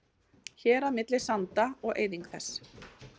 Hérað milli sanda og eyðing þess.